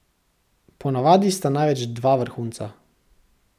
Ponavadi sta največ dva vrhunca.